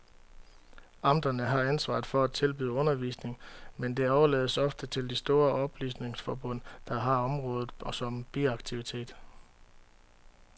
Amterne har ansvaret for at tilbyde undervisning, men det overlades ofte til de store oplysningsforbund, der har området som biaktivitet.